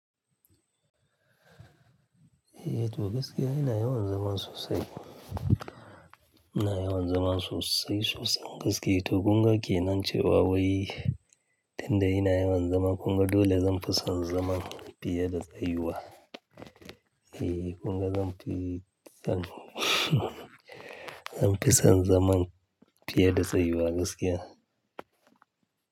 Ehh toh gaskiya ina yawan zaman sosai. Ina yawan zama sosai sosai gaskiya toh kunga ke nan ce wa wai, tunda ina yawan zaman kunga dole zan fi son zaman fiye da tsayuwa. Eeh kunga zan fi son, zan fi son zaman fiye da tsayuwa gaskiya.